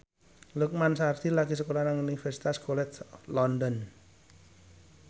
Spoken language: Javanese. Lukman Sardi lagi sekolah nang Universitas College London